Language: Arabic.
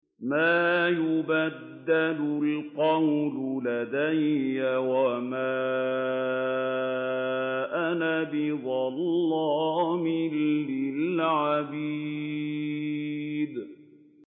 مَا يُبَدَّلُ الْقَوْلُ لَدَيَّ وَمَا أَنَا بِظَلَّامٍ لِّلْعَبِيدِ